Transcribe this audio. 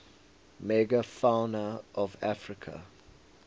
megafauna of africa